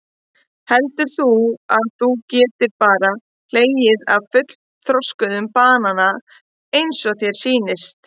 Heldur þú að þú getir bara hlegið af fullþroskuðm banana eins og þér sýnist?